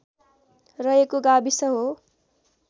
रहेको गाविस हो